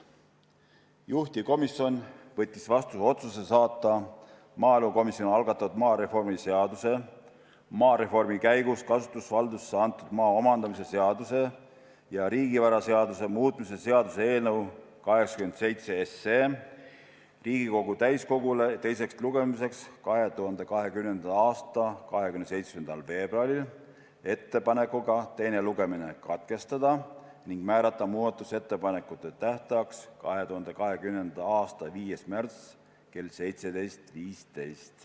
Juhtivkomisjon võttis vastu otsuse saata maaelukomisjoni algatatud maareformi seaduse, maareformi käigus kasutusvaldusse antud maa omandamise seaduse ja riigivaraseaduse muutmise seaduse eelnõu 87 Riigikogu täiskogule teiseks lugemiseks 2020. aasta 27. veebruariks ettepanekuga teine lugemine katkestada ning määrata muudatusettepanekute tähtajaks 2020. aasta 5. märts kell 17.15.